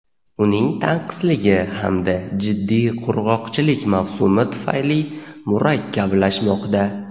uning tanqisligi hamda jiddiy qurg‘oqchilik mavsumi tufayli murakkablashmoqda.